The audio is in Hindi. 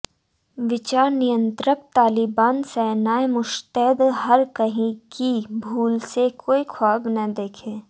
विचार नियंत्रक तालिबान सेनाएं मुश्तैद हर कहीं कि भूल से कोई ख्वाब न देखें